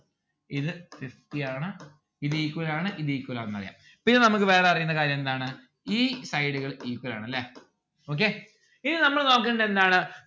ഇത് fifty ആണ് ഇത് equal ആണ് ഇത് equal ആണെന്ന് അറിയാം പിന്നെ നമ്മക്ക് വേറെ അറിയുന്ന കാര്യം എന്താണ് ഈ side ഉകൾ equal ആണ് അല്ലെ നോക്കിയേ ഇനി നമ്മൾ നോക്കണ്ടത് എന്താണ്